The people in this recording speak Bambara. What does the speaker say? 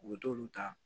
U bɛ t'olu ta